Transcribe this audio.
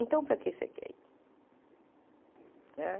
Então, para que você quer ir né?